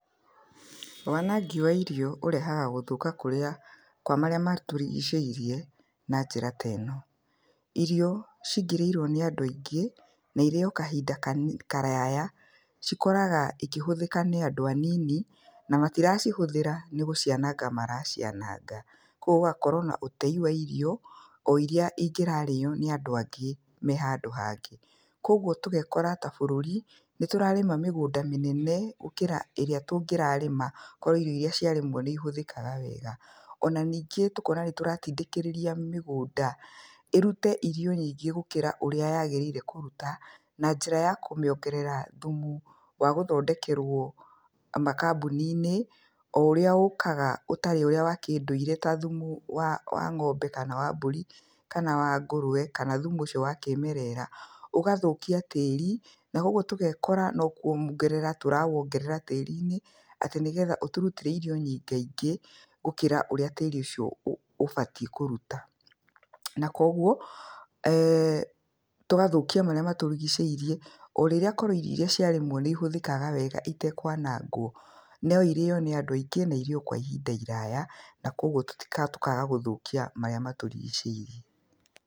Wanangi wa irio ũrehaga gũthũka kũrĩa kwa marĩa matũrigicĩirie na njĩra teno, irio cingĩrĩirio nĩ andũ aingĩ, na iriyo kahinda kani karaya, cikoraga ikĩhũthĩka nĩ andũ anini, na matiracihũthĩra nĩ gũcianaga maraciananga. Koguo gũgakorwo na ũtei wa irio, o iria ingĩrarĩyo nĩ andũ aingĩ mehandũ hangĩ, koguo tũgekora ta bũrũri nĩ tũrarĩma mĩgũnda mĩnene gũkĩra ĩrĩa tũngĩrarĩma korwo irio iria ciarĩmwo nĩihũthĩkaga wega. Ona ningĩ tũkona nĩ tũratindĩkĩrĩria mĩgũnda ĩrute irio nyingĩ gũkĩra ũrĩa yagĩrĩire kũruta, na njĩra ya kũmĩongerera thumu wa gũthondekerwo makambuni-inĩ, o ũrĩa ũkaga ũtarĩ ũrĩa wa kĩndũirĩ ta thumu wa wa ng'ombe, kana wa mbũri, kana wa ngũrwe, kana thumu ũcio wa kĩmerera, ũgathũkia tĩri, na koguo tũgekora no kũwongerera tũrawongerera tĩri-inĩ, atĩ nĩgetha ũtũrutĩre irio nyingĩingĩ gũkĩra ũrĩa tĩri ũ ũcio ũbatiĩ kũruta. Na koguo, tũgathũkia marĩa matũrigicĩirie, o rĩrĩa korwo irio iria ciarĩmwo nĩ ihũthĩkaga wega itekwanangwo, no irĩo nĩ andũ aingĩ na irĩo kwa ihinda iraya, na koguo tũkaga gũthũkia marĩa matũrigicĩirie.